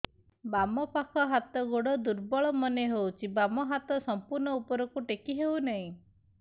ବାମ ପାଖ ହାତ ଗୋଡ ଦୁର୍ବଳ ମନେ ହଉଛି ବାମ ହାତ ସମ୍ପୂର୍ଣ ଉପରକୁ ଟେକି ହଉ ନାହିଁ